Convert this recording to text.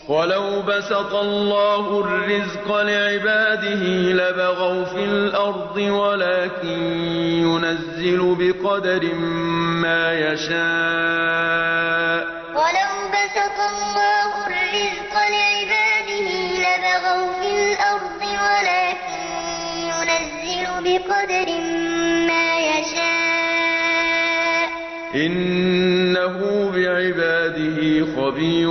۞ وَلَوْ بَسَطَ اللَّهُ الرِّزْقَ لِعِبَادِهِ لَبَغَوْا فِي الْأَرْضِ وَلَٰكِن يُنَزِّلُ بِقَدَرٍ مَّا يَشَاءُ ۚ إِنَّهُ بِعِبَادِهِ خَبِيرٌ بَصِيرٌ ۞ وَلَوْ بَسَطَ اللَّهُ الرِّزْقَ لِعِبَادِهِ لَبَغَوْا فِي الْأَرْضِ وَلَٰكِن يُنَزِّلُ بِقَدَرٍ مَّا يَشَاءُ ۚ إِنَّهُ بِعِبَادِهِ خَبِيرٌ